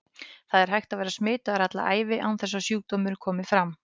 Það er hægt að vera smitaður alla ævina án þess að sjúkdómur komi fram.